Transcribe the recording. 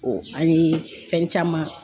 an ye fɛn caman